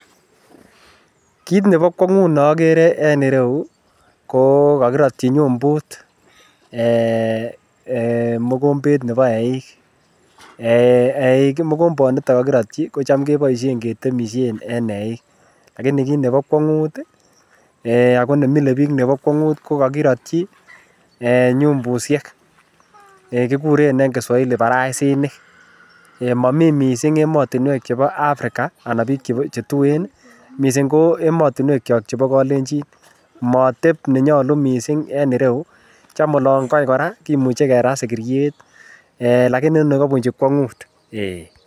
Kiit nebo kwongut nokere en ireyu ko kokirotyi nyumbut eeh mokombet Nebo eiik, eiik mokomboniton kokirotyi kocham keboishen ketemishen en eiik lakini kiit nebo kwongut akoo nemilebiik nebo kwongut ko kokirotyi eeh nyumbushek, kikuren en kiswahili baraisinik, momii mising emotinwek chebo Africa anan biik chetuen, mising ko emotinwekyok chebo kolenchin mooteb nenyolu mising en ireyu, cham olan kai kora kimuche kerat sikiriet lakini nii kobunchi kwongut.